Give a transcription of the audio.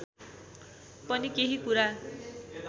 पनि केही कुरा